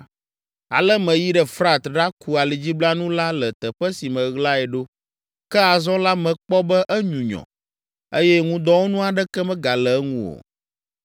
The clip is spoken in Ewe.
Ale meyi ɖe Frat ɖaku alidziblanu la le teƒe si meɣlae ɖo. Ke azɔ la mekpɔ be enyunyɔ eye ŋudɔwɔnu aɖeke megale eŋu o.